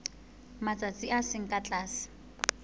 matsatsi a seng ka tlase